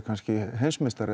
heimsmeistari